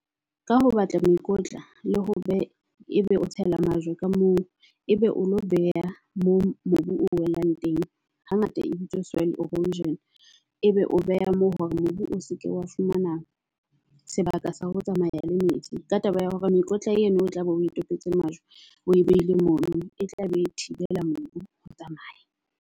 Ka ho batla mokotla le ho beha ebe o tshela majwe ka moo ebe o lo beha moo mobu o welang teng hangata e bitswa soil erosion. E be o beha ho hore mobu o seke wa fumana sebaka sa ho tsamaya le metsi ka taba ya hore mekotla eno o tlabe o tobetse majwe o e behile mono. E tla be e thibela mobu ho tsamaya.